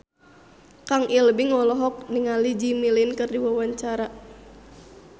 Kang Ibing olohok ningali Jimmy Lin keur diwawancara